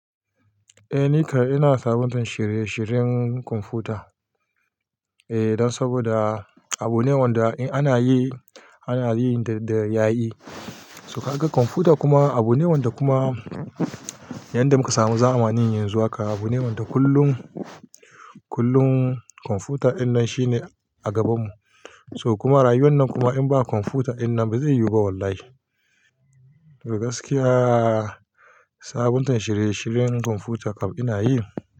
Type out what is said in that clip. Eh, ni kai ina sabontar shirye-shiryen kwamfuta. Eh, dan saboda abune wanda in ana yi, ana yi da ya yi. So ka ga kwamfuta kuma abune wanda kuma yanda muka samu zamani yanzu haka, abune wanda kullum, kullum kwamfuta inan shine a gabanmu. So kuma rayuwan nan kuma in ba kwamfuta wannan ba zai yiwu ba wallahi. Da gaskiya sabontar shirye-shiryen kwamfuta ina yi.